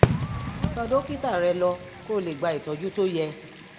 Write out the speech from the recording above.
tọ dókítà rẹ lọ kó o lè gba ìtọ́jú tó yẹ